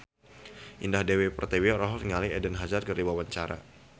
Indah Dewi Pertiwi olohok ningali Eden Hazard keur diwawancara